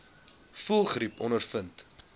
voëlgriep ondervind